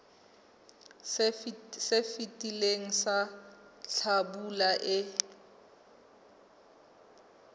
se fetileng sa hlabula e